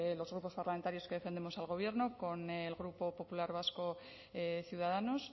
los grupos parlamentarios que defendemos al gobierno con el grupo popular vasco ciudadanos